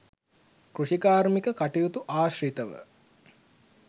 කෘෂිකාර්මික කටයුතු ආශ්‍රිතව